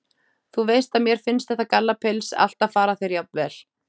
Þú veist að mér finnst þetta gallapils alltaf fara þér jafnvel.